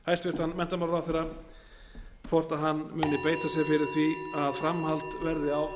hæstvirtur menntamálaráðherra hvort hann muni beita sér fyrir því að framhald verði á